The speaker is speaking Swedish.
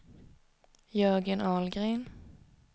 Jörgen Ahlgren